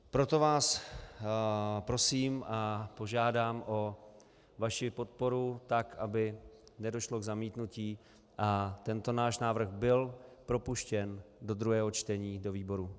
Proto vás prosím a požádám o vaši podporu tak, aby nedošlo k zamítnutí a tento náš návrh byl propuštěn do druhého čtení do výborů.